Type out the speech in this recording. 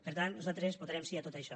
per tant nosaltres votarem sí a tot això